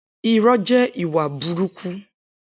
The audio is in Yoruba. Irọ jẹ ìwá búrùkú